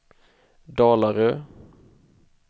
Dalarö